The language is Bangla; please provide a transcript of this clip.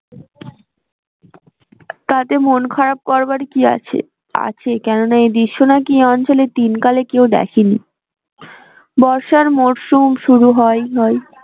তাতে মন খারাপ করবার কি আছে আছে কেন না এই দৃশ্য নাকি এই অঞ্চলে তিনকালে কেউ দেখেনি বর্ষার মরশুম শুরু হয় হয়